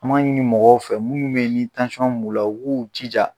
An b'a ɲini mɔgɔw fɛ minnu be ye ni b'u la u k'u jija